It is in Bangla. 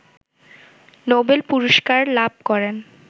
নোবেল পুরস্কার লাভ করেন